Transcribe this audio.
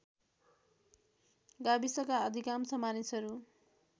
गाविसका अधिकांश मानिसहरू